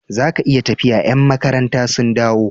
Zaka iya tafiya ya'n makaranta sun dawo